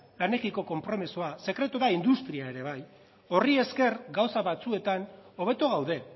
lanekiko konpromisoa sekretua da industria ere bai horri esker gauza batzuetan hobeto gaude